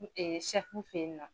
N sɛfu fe yen na